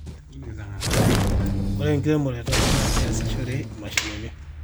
ore enkiremore e taata naa keesishore imashinini